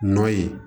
Nɔ ye